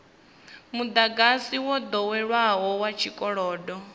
mudagasi wo doweleaho wa tshikolodo